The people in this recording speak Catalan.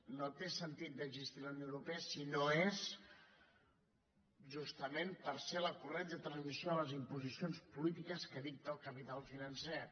no té sentit d’existir la unió europa si no és justament per ser la corretja de transmissió de les imposicions polítiques que dicta el capital financer